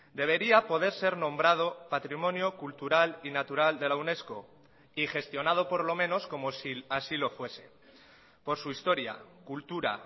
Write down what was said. debería poder ser nombrado patrimonio cultural y natural de la unesco y gestionado por lo menos como si así lo fuese por su historia cultura